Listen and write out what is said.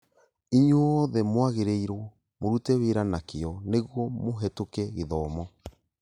Inyuothe mwagĩrĩirwo mũrute wĩra na kĩĩo nĩguo mũhetũke gĩthomo